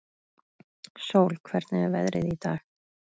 Sól, hvernig er veðrið í dag?